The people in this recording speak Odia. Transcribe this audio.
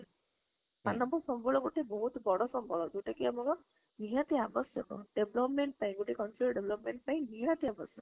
ମାନବ ସମ୍ବଳ ଗୋଟେ ବହୁତ ବଡ ସମ୍ବଳ ଯୋଉଟା କି ଆମେ କଣ ନିହାତି ଅପଶ୍ୟକ development ପାଇଁ, ଗୋଟେ countryର development ପାଇଁ ନିହାତି ଆବଶ୍ୟକ